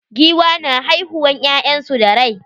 Giwa na haihiuwan ƴyansu da rai.